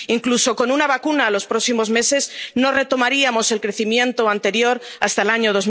Incluso con una vacuna en los próximos meses, no retomaríamos el crecimiento anterior hasta el año